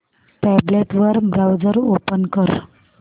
tablet वर browser open कर